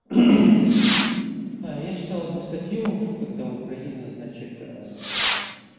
я читал одну статью когда украина значит